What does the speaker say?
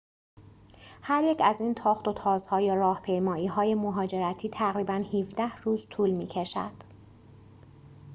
هریک از این تاخت‌وتازها یا راهپیمایی‌های مهاجرتی تقریباً ۱۷ روز طول می‌کشد